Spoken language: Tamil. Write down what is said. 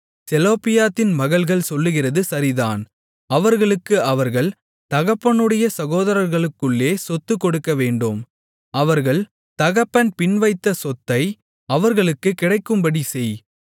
செலொப்பியாத்தின் மகள்கள் சொல்லுகிறது சரிதான் அவர்களுக்கு அவர்கள் தகப்பனுடைய சகோதரர்களுக்குள்ளே சொத்து கொடுக்கவேண்டும் அவர்கள் தகப்பன் பின்வைத்த சொத்தை அவர்களுக்குக் கிடைக்கும்படி செய்